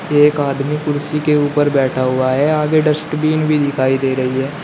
एक आदमी कुर्सी के ऊपर बैठा हुआ है आगे डस्टबिन भी दिखाई दे रही है।